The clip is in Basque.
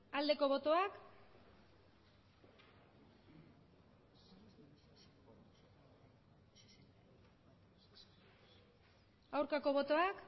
aldeko botoak aurkako botoak